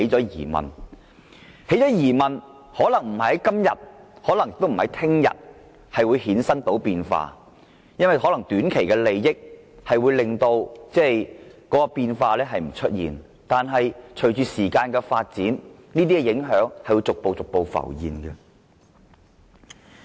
有了質疑後，可能不是今天，亦未必是明天便會出現變化，可能會因短期利益而將變化掩藏，但隨着時間過去，這些影響終究會逐步浮現。